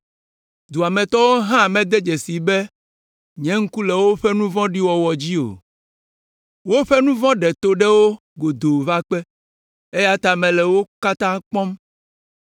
Dua me tɔwo hã mede dzesii be nye ŋku le woƒe nu vɔ̃ɖiwo wɔwɔ dzi o. Woƒe nu vɔ̃ ɖe to ɖe wo godoo va kpe, eya ta mele wo katã kpɔm.